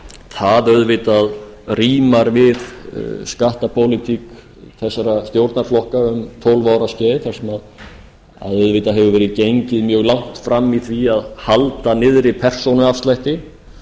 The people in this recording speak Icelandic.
það auðvitað rímar á skattapólitík þessara stjórnarflokka um tólf ára skeið þar sem auðvitað hefur verið gengið mjög langt fram í því að halda niðri persónuafslætti